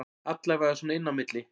Allavega svona inni á milli